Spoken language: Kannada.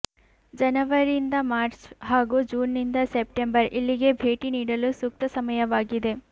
ಜನವರಿಂದ ಮಾರ್ಚ್ ಹಾಗೂ ಜೂನ್ನಿಂದ ಸೆಪ್ಟೆಂಬರ್ ಇಲ್ಲಿಗೆ ಭೇಟಿ ನೀಡಲು ಸೂಕ್ತ ಸಮಯವಾಗಿದೆ